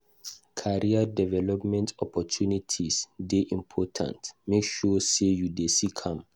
Career development opportunities dey important; make sure say you dey seek am.